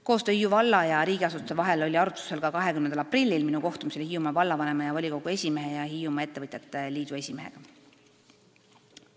Koostöö Hiiu valla ja riigiasutuste vahel oli arutusel ka 20. aprillil minu kohtumisel Hiiumaa vallavanema, volikogu esimehe ja Hiiumaa Ettevõtjate Liidu esimehega.